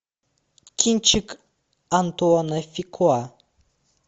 кинчик антуана фукуа